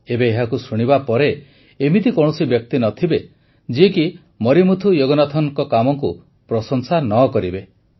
ଏବେ ଏହାକୁ ଶୁଣିବା ପରେ ଏମିତି କୌଣସି ବ୍ୟକ୍ତି ନ ଥିବେ ଯିଏକି ମରିମୁଥୁ ଯୋଗନାଥନଙ୍କ କାମକୁ ପ୍ରଶଂସା ନ କରିବେ